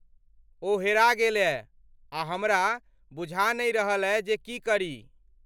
ओ हेरा गेलए आ हमरा बुझा नहि रहलए जे की करी।